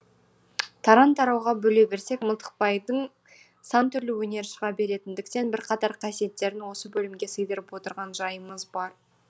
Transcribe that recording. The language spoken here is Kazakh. тарау тарауға бөле берсек мылтықбайдың сан түрлі өнері шыға беретіндіктен бірқатар қасиеттерін осы бөлімге сыйдырып отырған жайымыз бар